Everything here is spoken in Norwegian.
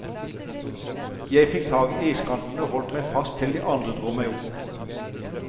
Jeg fikk tak i iskanten og holdt meg fast til de andre dro meg opp.